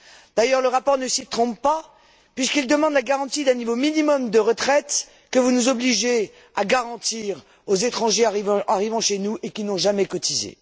D'ailleurs, le rapport ne s'y trompe pas puisqu'il demande la garantie d'un niveau minimum de retraite que vous nous obligez à garantir aux étrangers arrivant chez nous et qui n'ont jamais cotisé.